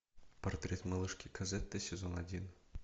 портрет малышки козетты сезон один